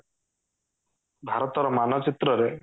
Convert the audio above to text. ଭାରତ ର ମାନଚିତ୍ର ରେ